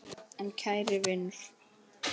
En kæri vinur.